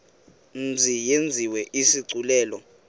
mzi yenziwe isigculelo